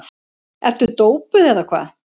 Ertu dópuð eða hvað?